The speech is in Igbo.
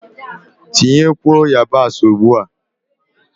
Tinyekwuo yabasị ugbua!